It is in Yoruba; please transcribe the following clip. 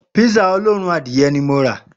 Písà olóòórùn adìye̩ ni mo rà